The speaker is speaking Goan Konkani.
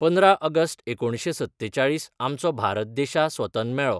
पंदरा अगस्ट एकोणशें सत्तेचाळीस आमचो भारत देशा स्वतन मेळो.